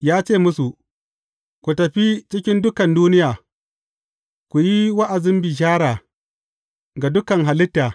Ya ce, musu, Ku tafi cikin dukan duniya, ku yi wa’azin bishara ga dukan halitta.